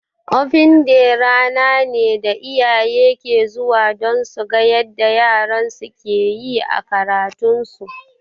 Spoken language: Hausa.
Open day rana ne da iyaye ke zuwa don suga yarda yaran su ke yi a karatun su